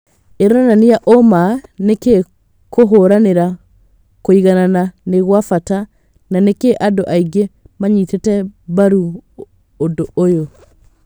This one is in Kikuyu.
Ironania ũma nĩkĩ kũhũranĩra kũiganana nĩ gwabata na nĩkĩ andũ aingĩ manyitĩte mbaru ũndũ ũyũ